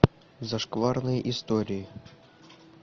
зашкварные истории